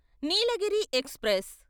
Nilgiri express